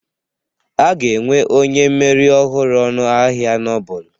A ga-enwe onye mmeri ọhụrụ ọnụ ahịa Nobel